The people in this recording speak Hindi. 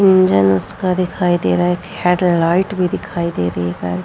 इंजन उसका दिखाई दे रहा है एक हेडलाइट भी दिखाई दे रही है।